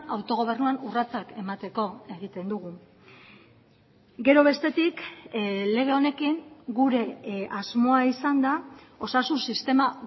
autogobernuan urratsak emateko egiten dugu gero bestetik lege honekin gure asmoa izan da osasun sistema